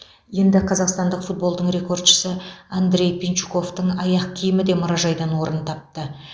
енді қазақстандық футболдың рекордшысы андрей пинчуковтың аяқ киімі де мұражайдан орын тапты